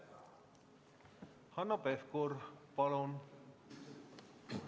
Hanno Pevkur, palun!